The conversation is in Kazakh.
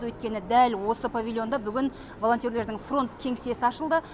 өйткені дәл осы павильонда бүгін волонтерлердің фронт кеңсесі ашылды